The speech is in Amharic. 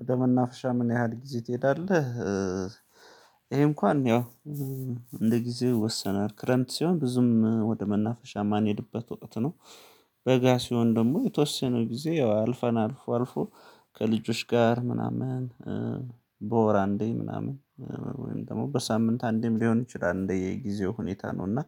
ወደ መናፍሻ ምን ያህል ጊዜ ትሄዳለህ? ይሄ እንኳን ያው እንደ ጊዜው ይወሰናል ክረምት ሲሆን ብዙም ወደ መናፈሻ ማንሄድበት ወቅት ነው። በጋ ሲሆን ደግሞ የተወሰነው ጊዜ ያው አልፈናል አልፎ አልፎ ከልጆች ጋር ምናምን በወር አንዴ ምናምን ወይም ደግሞ በሳምንት አንዴም ሊሆን ይችላል እንደየጊዜው ሁኔታ ነው። እና